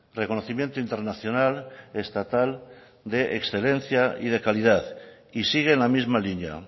reconocimiento internacional estatal de excelencia y de calidad y sigue en la misma línea